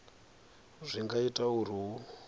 zwi nga ita uri hu